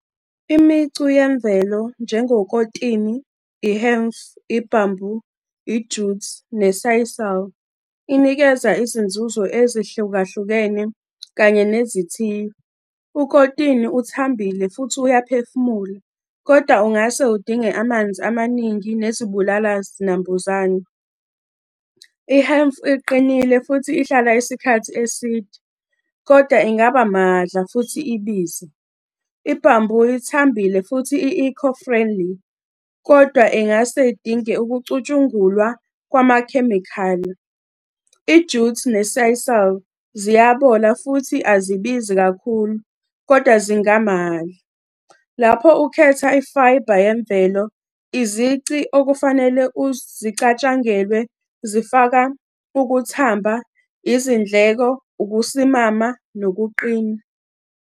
Imicu yemvelo njengokotini, i-Hemp, i-Bamboo, i-Jute ne-Sisal. Inikeza izinzuzo ezihlukahlukene kanye nezithiyo. Ukotini uthambile futhi uyaphefumula, kodwa ungase udinge amanzi amaningi nezibulala zinambuzane. I-hemp iqinile futhi ihlala isikhathi eside, kodwa ingaba mahhadla futhi ibize. I-bamboo ithambile futhi i-eco friendly, kodwa ingase idinge ukucushungulwa kwamakhemikhali. I-Jute ne-Sisal, ziyabola futhi azibizi kakhulu, kodwa zingamahhadla. Lapho ukhetha i-fibre yemvelo, izici okufanele uzicatshangelwe, zifaka ukuthamba, izindleko, ukusimama, nokuqina.